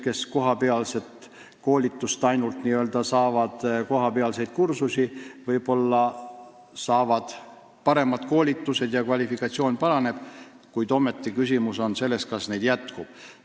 Võib-olla saadakse kohapealset koolitust või paremaid kursusi ja kvalifikatsioon paraneb, kuid küsimus on selles, kas neid jätkub.